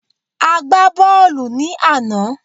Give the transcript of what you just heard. A gbà bọọlu ní àná